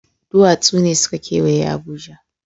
Duwatsu ne suka kewaye Abuja.